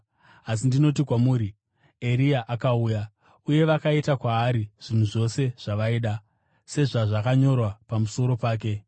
Asi ndinoti kwamuri, Eria akauya, uye vakaita kwaari zvinhu zvose zvavaida, sezvazvakanyorwa pamusoro pake.”